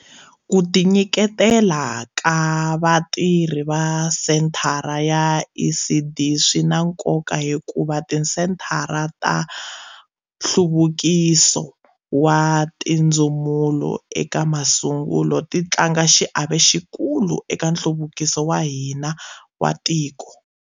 Ku tinyiketela ka vatirhi va senthara ya ECD swi na nkoka hikuva tisenthara ta nhluvukiso wa tindzumulo eka masungulo ti tlanga xiave xikulu eka nhluvukiso wa hina wa tiko.